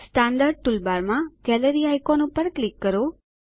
standard ટૂલબારમાં gallery icon પર click કરો